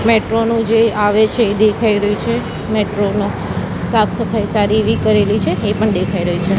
Metro નુ જે આવે છે એ દેખાય રહ્યુ છે નુ સાફ સફાઈ સારી એવી કરેલી છે એ પણ દેખાય રહ્યુ છે.